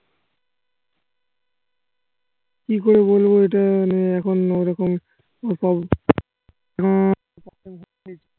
কি করে বলবো এইটা মানে এখন ওইরকম রকম